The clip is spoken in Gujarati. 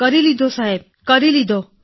કરી લીધો સાહેબ કરી લીધો